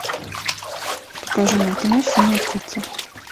покажи мне кино синяя птица